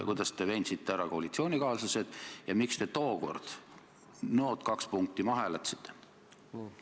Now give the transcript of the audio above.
Kuidas te koalitsioonikaaslased ümber veensite ja miks te tookord nood kaks punkti maha hääletasite?